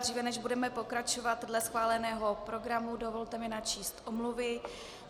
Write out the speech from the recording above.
Dříve než budeme pokračovat dle schváleného programu, dovolte mi načíst omluvy.